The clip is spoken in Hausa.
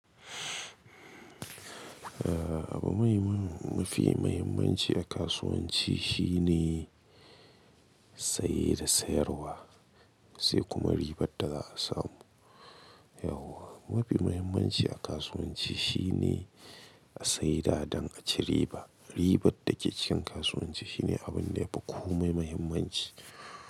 Aha abu muhimmu, mafi muhimmanci a kasuwanci shine saye da sayarwa, sai kuma ribar da za a samu. Yauwa, mafi muhimmanci a kasuwanci shine a sayi da don a ci riba. Ribar da ke cikin kasuwanci shine abun da yafi kome muhimmanci.